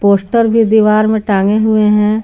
Poster भी दीवार में टांगे हुए हैं।